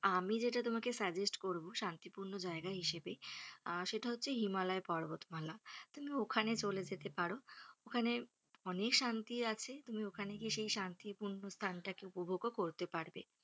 আমি যেটা তোমাকে suggest করব শান্তিপূর্ন জায়গা হিসাবে আহ সেইটা হচ্ছে যে হিমালয় পর্বতমালা । তুমি ওখানে চলে যেতে পারো। ওখানে অনেক শান্তি আছে। তুমি ওখানে গিয়ে সেই শান্তিপূর্ন স্থানটাকে উপভোগও করতে পারবে।